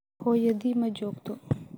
Hooyadii ma joogto.